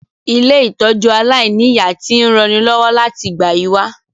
Ilé-ìtójú aláìniya ti n ranilọ́wọ́ láti ìgbà yi wa